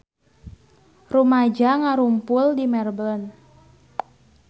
Rumaja ngarumpul di Melbourne